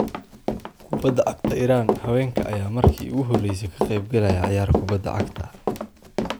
Kubadda Cagta Iran: Haweenka ayaa markii ugu horeysay ka qeyb galaya ciyaar kubbadda cagta ah